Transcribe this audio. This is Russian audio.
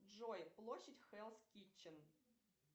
джой площадь хэлс китчен